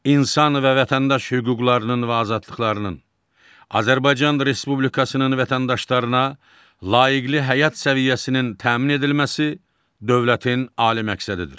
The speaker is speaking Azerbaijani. İnsan və vətəndaş hüquqlarının və azadlıqlarının, Azərbaycan Respublikasının vətəndaşlarına layiqli həyat səviyyəsinin təmin edilməsi dövlətin ali məqsədidir.